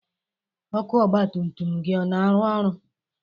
Ọkụ ọgba tum tum gị ọ na-arụ ọrụ?